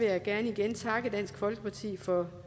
jeg gerne igen takke dansk folkeparti for